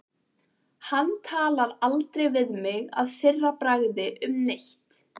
Hann talar aldrei við mig að fyrra bragði um neitt.